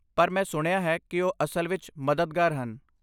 ਪਰ, ਮੈਂ ਸੁਣਿਆ ਹੈ ਕਿ ਉਹ ਅਸਲ ਵਿੱਚ ਮਦਦਗਾਰ ਹਨ।